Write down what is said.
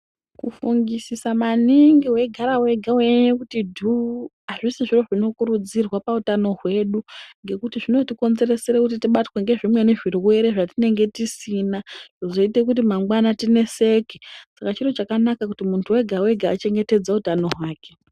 Kufungisosa maningi weigara wega weinyanya kutidhuu azvisizvo zvinokurudzirwa pautano hwedu ngekuti zvinotikonzeresere kuti tibatwe nezvimweni zvirwere zvatinenge tisina zvoite kuti mangwana tineseke Saka chiro chakanaka kuti muntu wega wega achengetedze utano hwake.